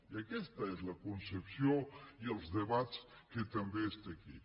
i aquesta és la concepció i els debats que també està aquí